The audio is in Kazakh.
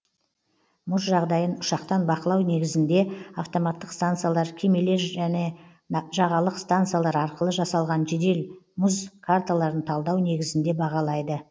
мұз жағдайын ұшақтан бақылау негізінде автоматтық стансалар кемелер және жағалық стансалар арқылы жасалған жедел мұз карталарын талдау негізінде бағалайды